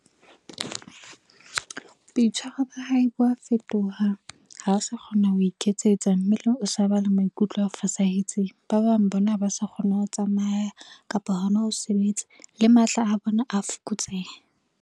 Boitshwaro ba hae bo a fetoha, ha sa kgona ho iketsetsa, mme o sa ba le maikutlo a fosahetseng. Ba bang bona ha ba sa kgona ho tsamaya kapa hona ho sebetse le matla a bona a fokotseha.